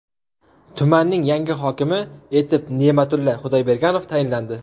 Tumanning yangi hokimi etib Ne’matulla Xudoyberganov tayinlandi.